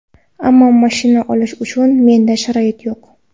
Ammo mashina olish uchun menda sharoit yo‘q.